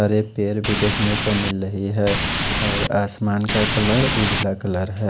हरे पेड़ भी देखने को मिल रही है और आसमना का कलर उजला कलर है।